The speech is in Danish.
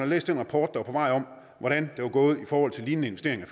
læst den rapport der er på vej om hvordan det var gået i forhold til lignende investeringer